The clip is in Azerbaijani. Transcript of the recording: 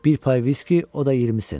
Bir pay viski, o da 20 sent.